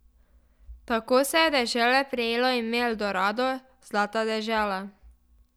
Tako se je dežele prijelo ime Eldorado, zlata dežela.